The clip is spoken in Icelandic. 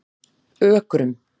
Ökrum